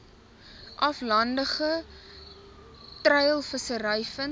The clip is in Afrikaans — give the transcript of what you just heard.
aflandige treilvissery vind